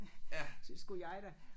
Skulle jeg da